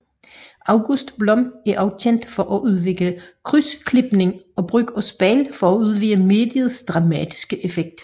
August Blom er også kendt for at udvikle krydsklipning og brug af spejle for at udvide mediets dramatiske effekt